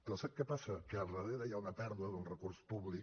però sap què passa que darrere hi ha una pèrdua d’un recurs públic